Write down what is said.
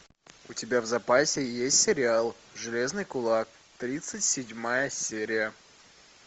у тебя в запасе есть сериал железный кулак тридцать седьмая серия